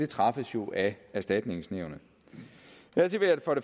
træffes jo af erstatningsnævnet dertil vil jeg